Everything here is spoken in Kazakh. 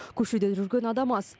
көшеде жүрген адам аз